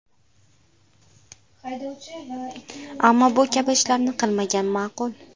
Ammo bu kabi ishlarni qilmagan ma’qul.